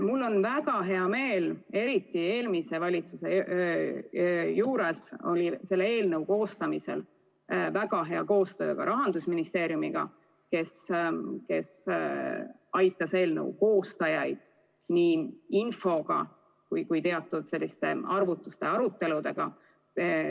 Mul on väga hea meel, et eriti eelmise valitsuse ajal oli selle eelnõu koostamisel väga hea koostöö ka Rahandusministeeriumiga, kes aitas eelnõu koostajaid nii infoga kui ka teatud arvutuste ja aruteludega.